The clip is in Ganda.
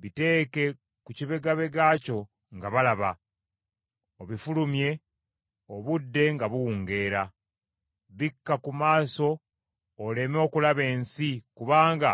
Biteeke ku kibegabega kyo nga balaba, obifulumye obudde nga buwungeera. Bikka ku maaso oleme okulaba ensi, kubanga